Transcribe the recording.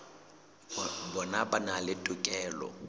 bona ba na le tokelo